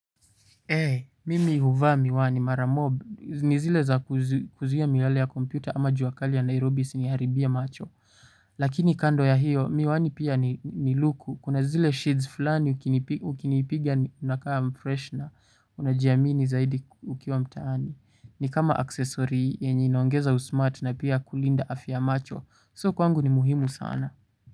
Hei, mimi huvaa miwani mara mob, ni zile za kuzuia miale ya kompyuta ama juakali ya Nairobi siniharibia macho, lakini kando ya hiyo miwani pia ni luku, kuna zile sheets fulani ukinipigia unakaa mfresh na unajiamini zaidi ukiwa mtaani, ni kama aksesori yenye inoongeza usmart na pia kulinda afya macho, so kwangu ni muhimu sana.